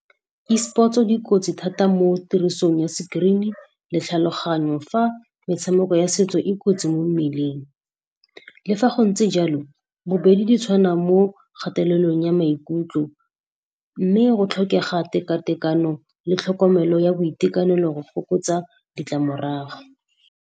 Esports-o di kotsi thata mo tirisong ya sekrini le tlhaloganyo, fa metshameko ya setso e kotsi mo mmeleng. Le fa go ntse jalo, bobedi di tshwana mo kgatelelong ya maikutlo, mme go tlhokega teka-tekano le tlhokomelo ya boitekanelo go fokotsa ditlamorago.